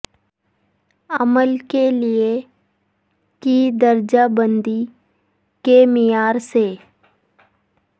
عمل کے لئے کی درجہ بندی کے معیار سے